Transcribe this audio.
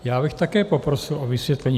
Já bych také poprosil o vysvětlení.